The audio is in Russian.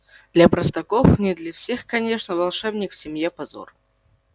для простаков не для всех конечно волшебник в семье позор